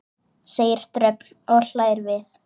segir Dröfn og hlær við.